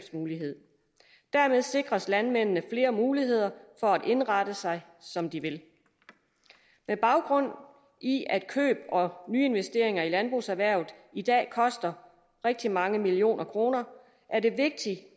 dermed sikres landmændene flere muligheder for at indrette sig som de vil med baggrund i at køb og nye investeringer i landbrugserhvervet i dag koster rigtig mange millioner kroner er det vigtigt